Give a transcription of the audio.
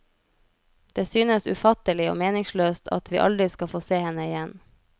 Det synes ufattelig og meningsløst at vi aldri skal få se henne igjen.